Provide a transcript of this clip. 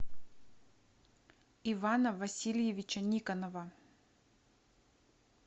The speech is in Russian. ивана васильевича никонова